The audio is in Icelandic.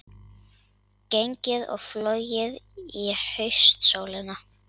Gengið og flogið í haustsólinni